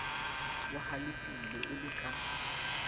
o halefile e le ka